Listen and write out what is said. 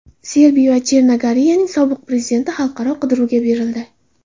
Serbiya va Chernogoriyaning sobiq prezidenti xalqaro qidiruvga berildi.